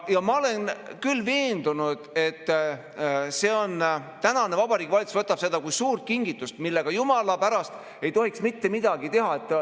Ma olen küll veendunud, et tänane Vabariigi Valitsus võtab seda kui suurt kingitust, millega jumala pärast ei tohiks mitte midagi teha.